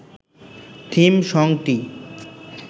theme সংটি